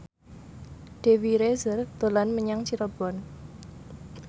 Dewi Rezer dolan menyang Cirebon